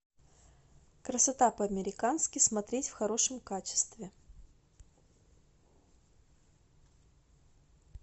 красота по американски смотреть в хорошем качестве